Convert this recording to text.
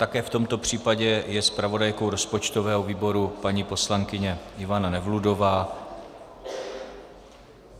Také v tomto případě je zpravodajkou rozpočtového výboru paní poslankyně Ivana Nevludová.